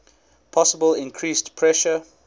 possible increased pressure